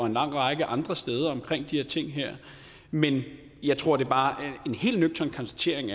en lang række andre steder omkring de her ting men jeg tror bare at en helt nøgtern konstatering